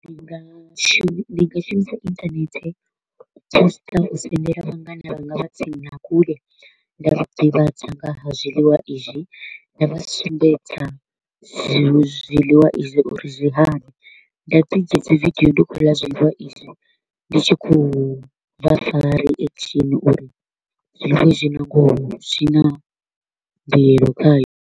Ndi nga shumi ndi nga shumisa internet u poster u sendela vhangana vhanga vha tsini na kule, nda vha ḓivhadza nga ha zwiḽiwa izwi, nda vha sumbedza zwi zwiḽiwa izwi uri zwi hani. Nda ḓi dzhia dzi video ndi kho u ḽa zwiḽiwa izwi, ndi tshi kho u vha fha reaction uri zwiḽiwa izwi na ngoho zwi na mbuelo khayo.